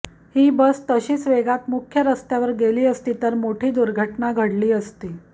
ही bus तशीच वेगात मुख्य रस्त्यावर गेली असती तर मोठी दुर्घटना घडली असती